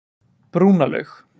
Brúnalaug